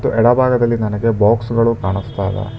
ಎಡ ಭಾಗದಲ್ಲಿ ನನಗೆ ಬಾಕ್ಸ್ ಗಳು ಕಾಣಸ್ತಾ ಇವೆ.